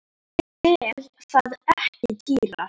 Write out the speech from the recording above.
Sel það ekki dýrar.